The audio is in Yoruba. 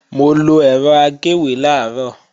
Mo lọ ẹ̀rọ agéwé làárọ̀